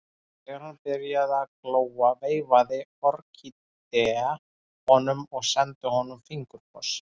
Þegar hann byrjaði að glóa veifaði Orkídea honum og sendi honum fingurkoss.